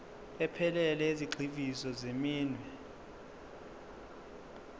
ephelele yezigxivizo zeminwe